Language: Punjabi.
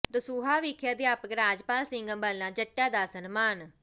ਦਸੂਹਾ ਵਿਖੇ ਅਧਿਆਪਕ ਰਾਜਪਾਲ ਸਿੰਘ ਅੰਬਾਲਾ ਜੱਟਾ ਦਾ ਸਨਮਾਨ